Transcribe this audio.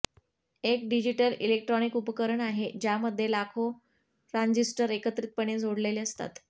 एक digital electronic उपकरण आहे ज्यामध्ये लाखो ट्रांझिस्टर एकत्रितपणे जोडलेले असतात